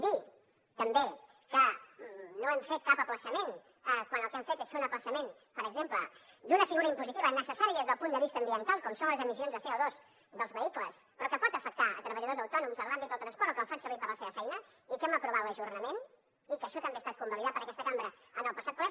dir també que no hem fet cap ajornament quan el que hem fet és fer un ajornament per exemple d’una figura impositiva necessària des del punt de vista ambiental com són les emissions de codors autònoms en l’àmbit del transport o que el fan servir per a la seva feina i que n’hem aprovat l’ajornament i que això també ha estat convalidat per aquesta cambra en el passat ple